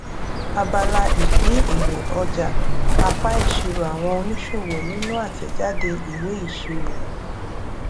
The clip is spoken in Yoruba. abala ìpín èrè ọjà apá ìṣirò àwọn oníṣòwò nínú àtèjáde ìwé ìṣirò